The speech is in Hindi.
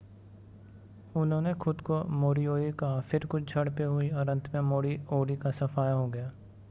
उन्होंने खुद को मोरीओरी कहा फिर कुछ झड़पें हुईं पर अंत में मोरी ओरी का सफाया हो गया